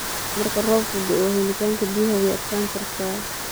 Marka roobku da'o, helitaanka biyaha way adkaan kartaa.